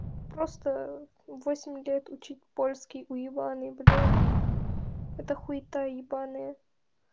просто восемь лет учить польский уебаный блять эта хуита ебаная